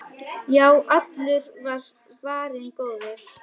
Já, allur var varinn góður!